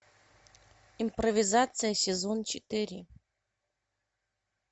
импровизация сезон четыре